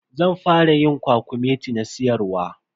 Zan fara yin kwakumeti na siyarwa.